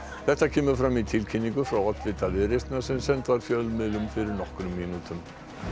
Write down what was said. þetta kemur fram í tilkynningu frá oddvita Viðreisnar sem send var fjölmiðlum fyrir nokkrum mínútum